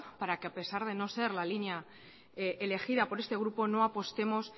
para que apesar de no ser la línea elegida por este grupo no apostemos